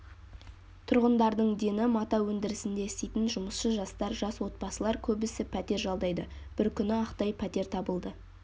тұрғындардың дені мата өндірісінде істейтін жұмысшы-жастар жас отбасылар көбісі пәтер жалдайды бір күні ақтай пәтер табылды